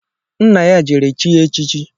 Nna ya jere chie echichi